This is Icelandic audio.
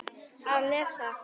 Að lesa?